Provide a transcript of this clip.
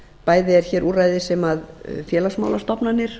bæði er hér úrræði sem félagsmálastofnanir